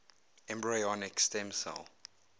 embryonic stem cell